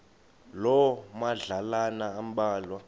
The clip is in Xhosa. loo madlalana ambalwa